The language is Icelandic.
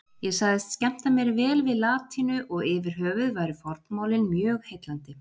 Ég sagðist skemmta mér vel við latínu og yfirhöfuð væru fornmálin mjög heillandi.